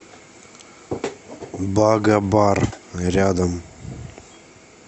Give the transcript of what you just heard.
бага бар рядом